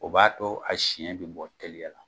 O b'a to a siyɛn bɛ bɔ teliya la